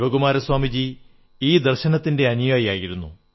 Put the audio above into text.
ശിവകുമാര സ്വാമിജി ഈ ദർശനത്തിന്റെ അനുയായി ആയിരുന്നു